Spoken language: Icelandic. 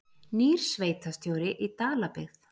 Nýr sveitarstjóri í Dalabyggð